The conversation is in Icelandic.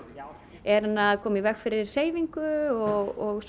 er hann að koma í veg fyrir hreyfingu og